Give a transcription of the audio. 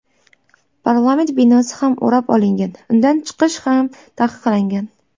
Parlament binosi ham o‘rab olingan, undan chiqish ham taqiqlangan.